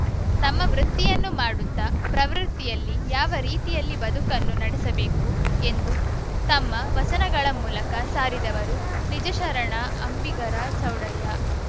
ತಮ್ಮ ವೃತ್ತಿಯನ್ನು ಮಾಡುತ್ತಾ ಪ್ರವೃತ್ತಿಯಲ್ಲಿ ಯಾವ ರೀತಿಯಲ್ಲಿ ಬದುಕನ್ನು ನಡೆಸಬೇಕು ಎಂದು ತಮ್ಮ ವಚನಗಳ ಮೂಲಕ ಸಾರಿದವರು ನಿಜಶರಣ ಅಂಬಿಗರ ಚೌಡಯ್ಯ